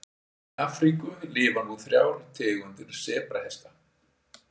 Í Afríku lifa nú þrjár tegundir sebrahesta.